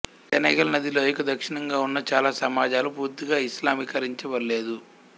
Senegal నది లోయకు దక్షిణంగా ఉన్న చాలా సమాజాలు పూర్తిగా ఇస్లామీకరించబడలేదు